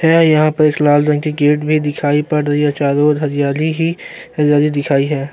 है यहां पर लाल रंग की गेट भी दिखाई पड़ रही है चारों और हरयाली ही हरयाली दिखाई है।